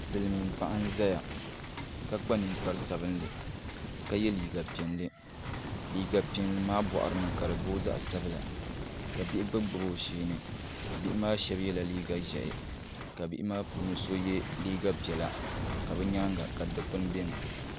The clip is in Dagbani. Silmiin paɣa n ʒɛya ka yɛ liiga piɛlli ka kpa ninkpari sabinli liiga piɛlli maa boɣari ni ka di booi zaɣ sabila ka bihi gbubi gbubi o sheeni bihi maa shab yɛla liiga ʒiɛhi ka bihi maa puuni so yɛ liiga piɛla ka bi nyaanga ka dikpuni biɛni